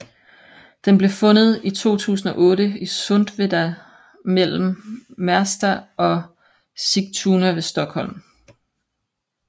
Den blev fundet i 2008 i Sundveda mellem Märsta og Sigtuna ved Stockholm